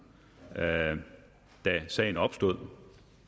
da sagen opstod